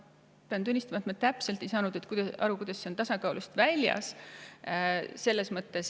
Pean tunnistama, et ma ei saanud täpselt aru, kuidas on see tasakaalust väljas.